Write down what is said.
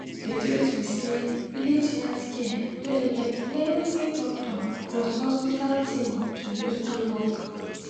de truth be say village health center no dey get plenti doctor plus hospital thing to use do work.